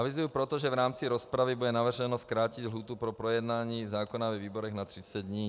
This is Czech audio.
Avizuji proto, že v rámci rozpravy bude navrženo zkrátit lhůtu pro projednání zákona ve výborech na 30 dní.